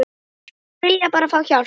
Þeir vilja bara fá hjálp.